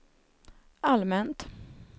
allmänt